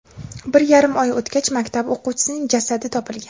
Bir yarim oy o‘tgach, maktab o‘quvchisining jasadi topilgan.